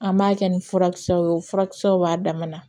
An b'a kɛ ni furakisɛw ye o furakisɛw b'a dama na